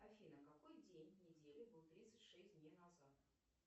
афина какой день недели был тридцать шесть дней назад